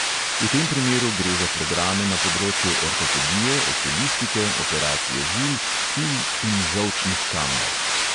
V tem primeru gre za programe na področju ortopedije, okulistike, operacije žil, kil in žolčnih kamnov.